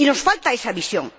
Nos falta esa visión.